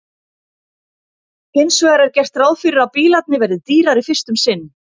Hins vegar er gert ráð fyrir að bílarnir verði dýrari fyrst um sinn.